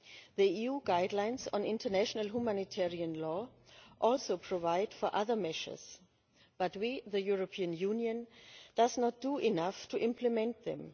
The EU guidelines on international humanitarian law also provide for other measures, but we the European Union do not do enough to implement them.